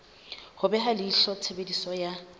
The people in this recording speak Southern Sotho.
ho beha leihlo tshebediso ya